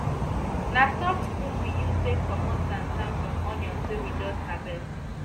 na soft broom we use take comot sand sand from onions wey we just harvest